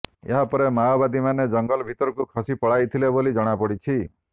ଏହାପରେ ମାଓବାଦୀ ମାନେ ଜଙ୍ଗଲ ଭିତରକୁ ଖସି ପଳାଇଥିଲେ ବୋଲି ଜଣାପଡ଼ିଛି